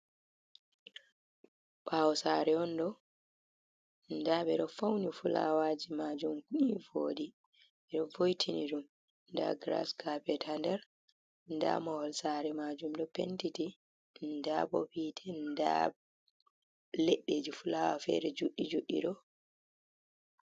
Ɓawo sare on ɗo nɗa ɓe ɗo fauni fulawaji majum ni voɗi ɓe ɗo vo'itini ɗum nda gras kapet nda mahol sare majum ɗo pentiti nda bo hite nda leɗɗe ji fulawa fere juɗɗi juɗɗi ɗo.